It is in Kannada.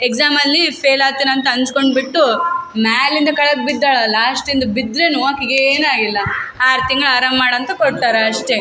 ಎಕ್ಸಾಮ್ ಅಲ್ಲಿ ಫೇಲ್ ಆತೀನ್ ಅಂತ ಅನ್ಸ್ಕೊಂಡ್ ಬಿಟ್ಟು ಮ್ಯಾಲಿಂದ ಕೆಳಗ್ ಬಿದ್ದಳಾ ಲಾಶ್ಟ್ ಇಂದ ಬಿದ್ರುನು ಆಕಿಗ್ ಏನು ಆಗಿಲ್ಲ ಆರ್ ತಿಂಗ್ಳ್ ಆರಾಮ್ ಮಾಡಂತ ಕೊಟ್ಟಾರ ಅಷ್ಟೇ .